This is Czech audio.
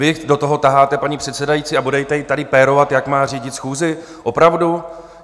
Vy do toho taháte paní předsedající a budete ji tady pérovat, jak má řídit schůzi, opravdu?